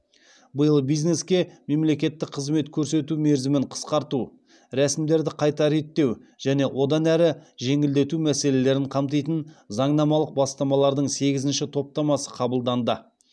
биыл бизнеске мемлекеттік қызмет көрсету мерзімін қысқарту рәсімдерді қайта реттеу және одан әрі жеңілдету мәселелерін қамтитын заңнамалық бастамалардың сегізінші топтамасы қабылданды